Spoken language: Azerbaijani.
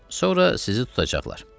Sonra sizi tutacaqlar.